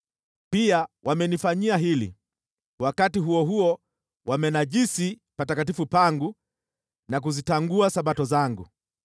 Pia wamenifanyia hili: wakati huo huo wamenajisi patakatifu pangu na kuzitangua Sabato zangu.